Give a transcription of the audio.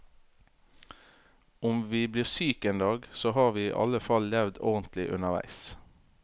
Om vi blir syke en dag, så har vi i alle fall levd ordentlig underveis.